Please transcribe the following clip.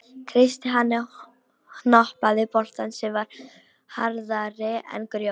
Kreisti hann og hnoðaði bolta sem var harðari en grjót.